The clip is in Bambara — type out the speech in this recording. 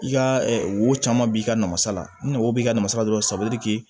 I ka wo caman b'i ka nafasa la ni o b'i ka nafasa dɔrɔn